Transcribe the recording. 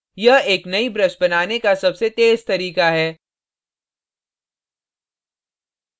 यह एक नई brush बनाने का सबसे तेज तरीका है